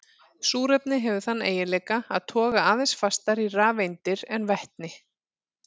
Súrefni hefur þann eiginleika að toga aðeins fastar í rafeindir en vetni.